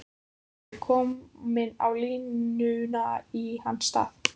Guffi kominn á línuna í hans stað!